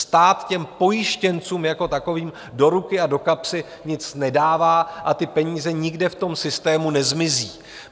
Stát těm pojištěncům jako takovým do ruky a do kapsy nic nedává a ty peníze nikde v tom systému nezmizí.